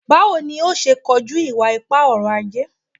Bawo ni yoo ṣe koju iwa-ipa ọrọ-aje?